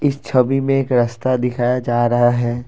इस छवि में एक रास्ता दिखाया जा रहा है।